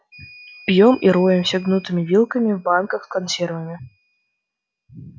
пьём и роемся гнутыми вилками в банках с консервами